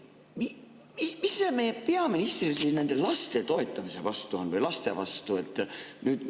Mis sellel meie peaministril nende laste toetamise vastu on või laste vastu?